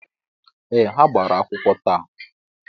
Ee, ha gbara akwụkwọ taa